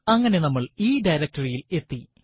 അങ്ങനെ നമ്മൾ ഈ directory യിൽ എത്തി